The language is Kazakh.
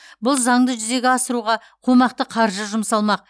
бұл заңды жүзеге асыруға қомақты қаржы жұмсалмақ